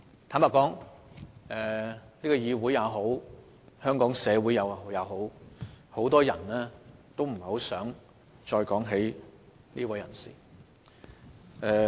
坦白說，無論是本議會還是香港社會，很多人都不想再談論這位人士。